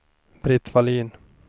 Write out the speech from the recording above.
Britt Vallin